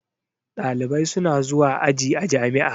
Ɗalibai suna zuwa aji a jami'a.